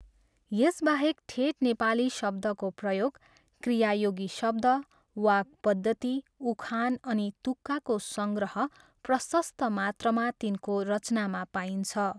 यसबाहेक ठेट नेपाली शब्दको प्रयोग, क्रियायोगी शब्द, वाक् पद्धति, उखान अनि तुक्काको सङ्ग्रह प्रशस्त मात्रामा तिनको रचनामा पाइन्छ।